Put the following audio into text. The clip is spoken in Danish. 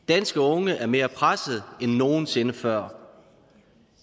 danske unge er mere presset end nogen sinde før